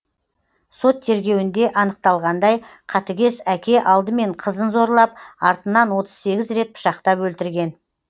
сот тергеуінде анықталғандай қатыгез әке алдымен қызын зорлап артынан отыз сегіз рет пышақтап өлтірген